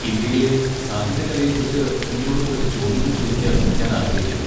ഇന്ത്യയിലെ സാഹിത്യകലയെക്കുറിച്ച് നിങ്ങളോട് കുറച്ച് ചോദ്യങ്ങൾ ചോദിക്കാൻ ഞാൻ ആഗ്രഹിക്കുന്നു.